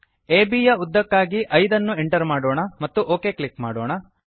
ಅಬ್ ಯ ಉದ್ದಕ್ಕಾಗಿ 5 ಅನ್ನು ಎಂಟರ್ ಮಾಡೋಣ ಮತ್ತು ಒಕ್ ಕ್ಲಿಕ್ ಮಾಡೋಣ